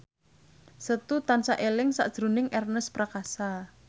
Setu tansah eling sakjroning Ernest Prakasa